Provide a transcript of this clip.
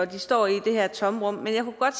de står i det her tomrum men jeg kunne godt